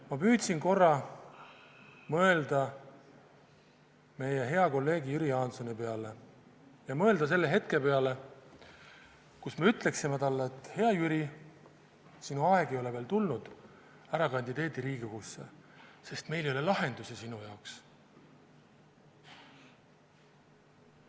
Ma püüdsin korra mõelda meie hea kolleegi Jüri Jaansoni peale ja mõelda selle hetke peale, kui me ütleksime talle, et, hea Jüri, sinu aeg ei ole veel tulnud, ära kandideeri Riigikogusse, sest meil ei ole lahendusi sinu jaoks.